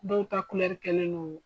Dɔw ta kɛlen do.